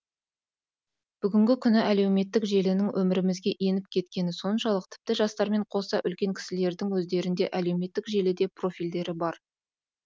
бүгінгі күні әлеуметтік желінің өмірімізге еніп кеткендігі соншалық тіпті жастармен қоса үлкен кісілердің өздерінде әлеуметтік желіде профильдері бар